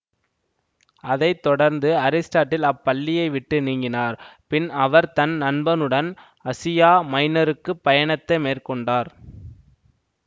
அதை தொடர்ந்து அரிஸ்டாடில் அப்பள்ளியை விட்டு நீங்கினார்பின் அவர் தன் நண்பனுடன் அசியா மைனருக்கு பயனத்தை மேற்கொண்டார்